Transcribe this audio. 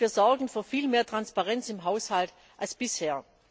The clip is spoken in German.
Und wir sorgen für viel mehr Transparenz im Haushalt als bisher.